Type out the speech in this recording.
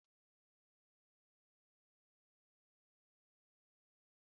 Chole Bhature bụ nri Ugwu India